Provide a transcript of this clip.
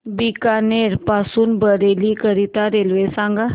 बीकानेर पासून बरेली करीता रेल्वे सांगा